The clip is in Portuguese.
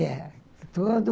É. Tudo...